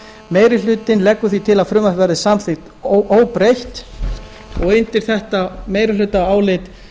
meiri hlutinn leggur til að frumvarpið verði samþykkt óbreytt undir þetta meirihlutaálit